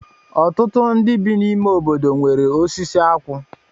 Ọtụtụ ndị bi n'ime obodo nwere osisi akwụ